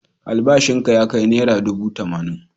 Albashinka ya kai naira dubu tamanin.